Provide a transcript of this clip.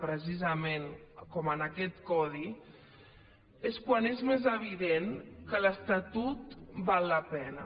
precisament com en aquest codi és quan és més evident que l’estatut val la pena